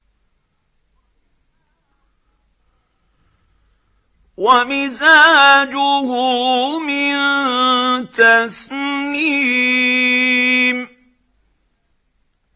وَمِزَاجُهُ مِن تَسْنِيمٍ